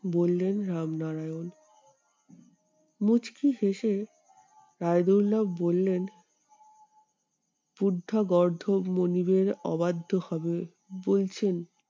বললেন রামনারায়ণ। মুচকি হেঁসে রায়দুল্লাও বললেন গর্ধব মনিবের অবাধ্য হবে বলছেন